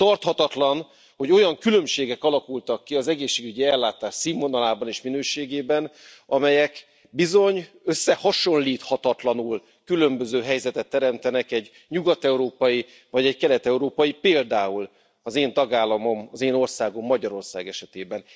Tarthatatlan, hogy olyan különbségek alakultak ki az egészségügyi ellátás színvonalában és minőségében, amelyek bizony összehasonlíthatatlanul különböző helyzetet teremtenek egy nyugat európai vagy egy kelet európai, például az én tagállamom, az én országom, Magyarország esetében.